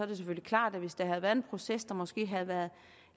det selvfølgelig klart at hvis der havde været en proces der havde været